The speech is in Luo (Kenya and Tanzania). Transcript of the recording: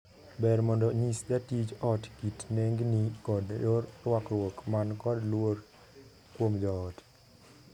Ber mondo nyis jatij ot kit nengni kod yor ruakruok man kod luor kuom joot.